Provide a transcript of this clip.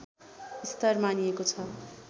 स्तर मानिएको छ